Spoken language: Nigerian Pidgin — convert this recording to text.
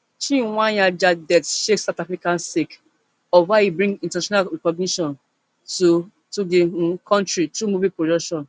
chweneyagae death shake south africa sake of how e bring international recognition to to di um kontri through movie production